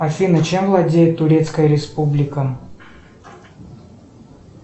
афина чем владеет турецкая республика